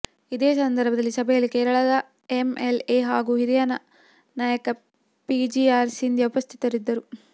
ಇದೆ ಸಂದರ್ಭದಲ್ಲಿ ಸಭೆಯಲ್ಲಿ ಕೇರಳದ ಎಂಎಲ್ಎ ಹಾಗೂ ಹಿರಿಯ ನಾಯಕ ಪಿಜಿಆರ್ ಸಿಂಧ್ಯ ಉಪಸ್ಥಿತರಿದ್ದರು